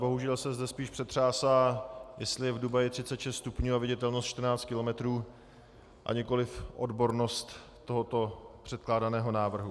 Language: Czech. Bohužel se zde spíš přetřásá, jestli je v Dubaji 36 stupňů a viditelnost 14 kilometrů, a nikoliv odbornost tohoto předkládaného návrhu.